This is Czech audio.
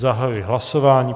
Zahajuji hlasování.